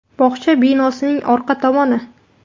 Bog‘cha binosining orqa tomoni.